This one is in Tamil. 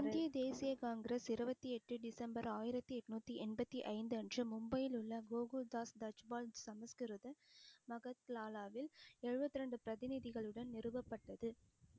இந்திய தேசிய காங்கிரஸ் இருபத்தி எட்டு டிசம்பர் ஆயிரத்தி எண்ணூத்தி எண்பத்தி ஐந்து அன்று மும்பையில் உள்ள கோகுல்தாஸ் தஜ்பால் சமஸ்கிருத மஹத்லாலாவில் எழுபத்தி இரண்டு பிரதிநிதிகளுடன் நிறுவப்பட்டது